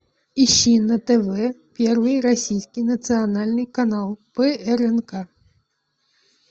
ищи на тв первый российский национальный телеканал прнк